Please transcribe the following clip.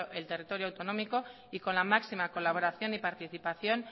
el territorio autonómico y con la máxima colaboración y participación